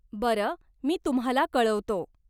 बरं, मी तुम्हाला कळवतो.